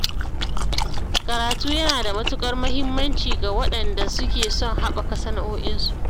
Karatu yana da matuƙar muhimmanci ga waɗanda suke son haɓaka sana’o'in su.